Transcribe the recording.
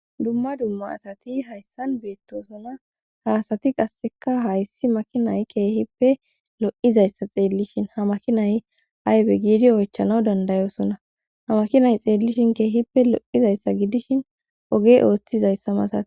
Dumma dumma asati hayssan beettosona haasati qasseka hayssi makinay keehippe lo'izayssa xeellishin ha makinay aybe giidi oychanaw dandayosona ha makinay xeellishin keehippe lo'izayssa gidishin oge ooththizayssa masate.